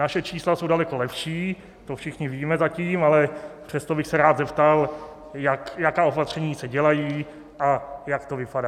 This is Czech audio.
Naše čísla jsou daleko lepší, to všichni víme zatím, ale přesto bych se rád zeptal, jaká opatření se dělají a jak to vypadá.